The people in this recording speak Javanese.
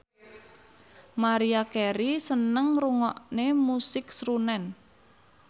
Maria Carey seneng ngrungokne musik srunen